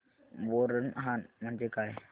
बोरनहाण म्हणजे काय